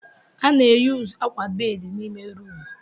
A na-eyuzu akwa bedị n'ime rumụ.